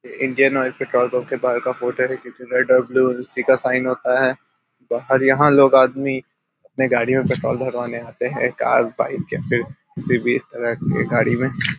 ये Indian Oil petrol pump के बाहर का फोटो है जिसमे रेड और ब्लू उसी का साईन होता है बाहर यहाँ लोग आदमी अपने गाड़ियां मे पेट्रोल भरवाने आते हैं कार बाइक या फिर किसी भी तरह के गाड़ी में।